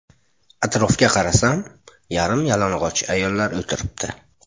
Atrofga qarasam, yarim-yalang‘och ayollar o‘tiribdi.